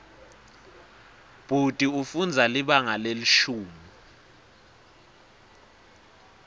bhuti ufundza libanga lelishumi